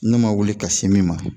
Ne ma wuli ka se min ma